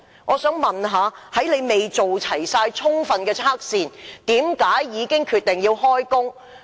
我想問局長，在未完成充分測試前，為何決定讓工人開工？